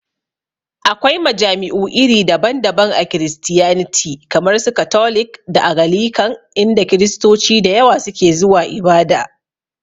Akwai majami'u iri daban daban a Kiristiyaniti kamar su katolik da agalikan, inda Kiristoci da yawa su ke zuwa ibada